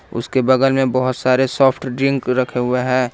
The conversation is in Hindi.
उसके बगल में बहुत सारे सॉफ्ट ड्रिंक रखे हुए हैं।